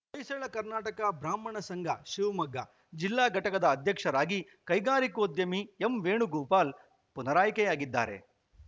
ಹೊಯ್ಸಳ ಕರ್ನಾಟಕ ಬ್ರಾಹ್ಮಣ ಸಂಘ ಶಿವಮೊಗ್ಗ ಜಿಲ್ಲಾ ಘಟಕದ ಅಧ್ಯಕ್ಷರಾಗಿ ಕೈಗಾರಿಕೋದ್ಯಮಿ ಎಂವೇಣುಗೋಪಾಲ್‌ ಪುನರಾಯ್ಕೆಯಾಗಿದ್ದಾರೆ